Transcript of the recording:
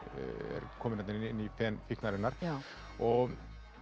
er komin þarna inn í fen fíknarinnar og